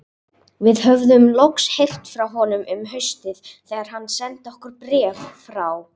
Við höfðum loks heyrt frá honum um haustið þegar hann sendi okkur bréf frá